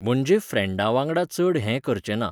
म्हणजे फ्रँडा वांगडा चड हें करचें ना.